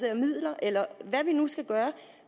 af midler eller hvad vi nu skal gøre